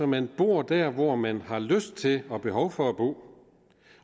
man bor der hvor man har lyst til og behov for at bo